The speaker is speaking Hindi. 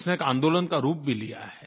उसने एक आंदोलन का रूप भी लिया है